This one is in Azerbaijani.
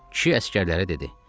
Kişi əsgərlərə dedi.